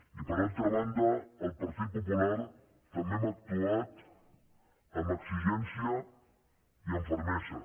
i per altra banda el partit popular també hem actuat amb exigència i amb fermesa